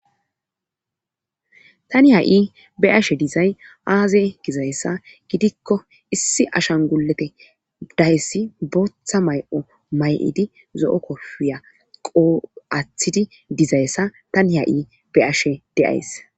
tani ha'i be'ashe dizay aaze gizayssa gidikko issi ashanigulete dayesi booththa may'o may'idi zo7o kofiya qoo7aaththidi dizayssa tani ha'i be'ashe de'ays